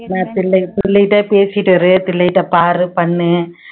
சொல்லிட்டு பேசிட்டு இரு தில்லைட்ட பாரு பண்ணு